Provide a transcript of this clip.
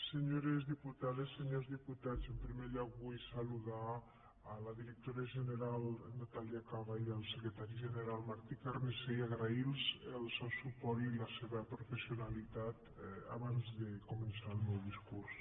senyores diputades senyors diputats en primer lloc vull saludar la directora general natàlia caba i el secretari general martí carnicer i agrair los el seu suport i la seva professionalitat abans de començar el meu discurs